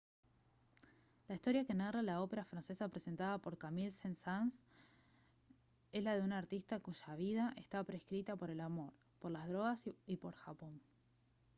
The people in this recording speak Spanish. la historia que narra la ópera francesa presentada por camille saint-saens es la de un artista «cuya vida está prescrita por el amor por las drogas y por japón»